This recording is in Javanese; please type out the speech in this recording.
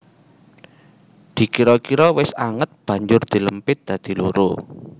Dikira kira wis anget banjur dilempit dadi loro